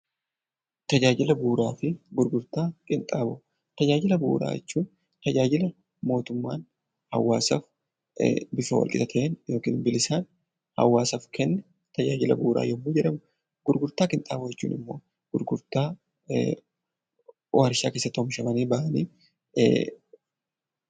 Tajaajila bu'uuraa jechuun tajaajila mootummaan hawaasaaf bifa walqixa ta'een yookaan bilisaan hawaasaaf kennu, tajaajila bu'uuraa yommuu jedhamu, gurgurtaa qinxaanboo jechuun immoo gurgurtaa warshaa keessatti oomishamanidha.